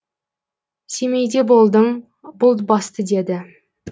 семейде болдым бұлт басты деді